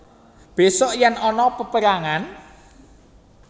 Besuk yen ana peperangan